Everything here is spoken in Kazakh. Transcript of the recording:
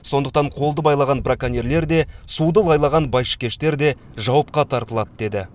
сондықтан қолды байлаған браконьерлер де суды лайлаған байшыкештер де жауапқа тартылады деді